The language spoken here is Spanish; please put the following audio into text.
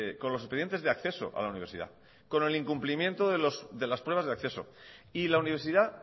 con los expedientes de acceso a la universidad con el incumplimiento de las pruebas de acceso y la universidad